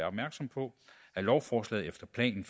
opmærksom på at lovforslaget efter planen